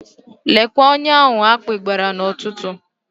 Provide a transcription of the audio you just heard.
Lekwe onye ahụ akpị gbara n'ụtụtụ.